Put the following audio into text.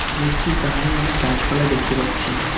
গেটটির ধারে অনেক গাছপালা দেখতে পাচ্ছি।